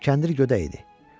Kəndir gödək idi.